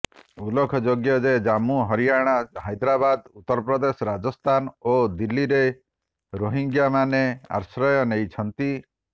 ଉଲ୍ଲେଖଯୋଗ୍ୟ ଯେ ଜାମ୍ମୁ ହରିୟାଣା ହାଇଦରାବାଦ ଉତ୍ତରପ୍ରଦେଶ ରାଜସ୍ଥାନ ଓ ଦିଲ୍ଲୀରେ ରୋହିଙ୍ଗ୍ୟାମାନେ ଆଶ୍ରୟ ନେଇଛନ୍ତି